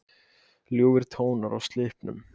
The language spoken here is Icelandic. Ljúfir tónar úr Slippnum